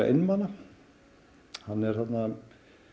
einmana hann er þarna